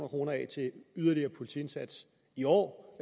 kroner af til yderligere politiindsats i år